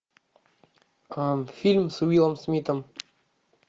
фильм с уиллом смитом